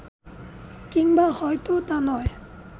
কিংবা হয়তো তা নয়